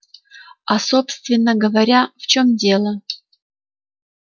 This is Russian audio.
а собственно говоря в чем дело